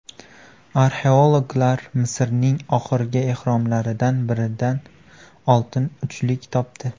Arxeologlar Misrning oxirgi ehromlaridan biridan oltin uchlik topdi .